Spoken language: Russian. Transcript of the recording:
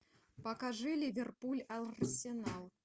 покажи ливерпуль арсенал